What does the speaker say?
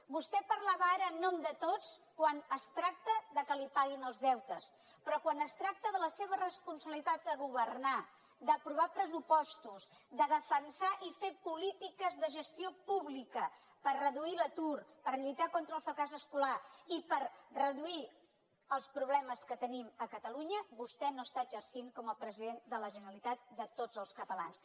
vostè parlava ara en nom de tots quan es tracta que li paguin els deutes però quan es tracta de la seva responsabilitat de governar d’aprovar pressupostos de defensar i fer polítiques de gestió pública per reduir l’atur per lluitar contra el fracàs escolar i per reduir els problemes que tenim a catalunya vostè no està exercint com a president de la generalitat de tots els catalans